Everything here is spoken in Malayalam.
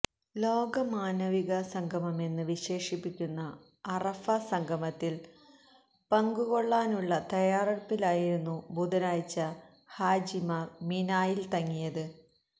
ലോക മാനവികസംഗമമെന്ന് വിശേഷിപ്പിക്കുന്ന അറഫ സംഗമത്തില് പങ്കുകൊള്ളാനുള്ള തയ്യാറെടുപ്പിനായിരുന്നു ബുധനാഴ്ച ഹാജിമാര് മിനായില് തങ്ങിയത്